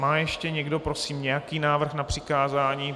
Má ještě někdo prosím nějaký návrh na přikázání?